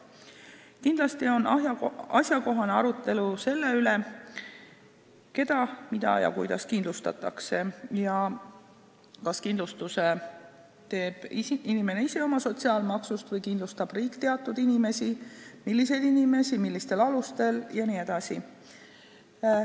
Kindlasti on asjakohane arutelu selle üle, keda, mida ja kuidas kindlustatakse ning kas kindlustuse teeb inimene ise oma sotsiaalmaksust või kindlustab riik teatud inimesi, kui nii, siis milliseid inimesi, millistel alustel jne.